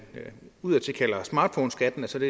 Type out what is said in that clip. udadtil kalder smartphoneskatten som